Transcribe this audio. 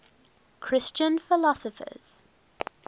christian philosophers